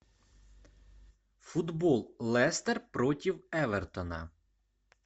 футбол лестер против эвертона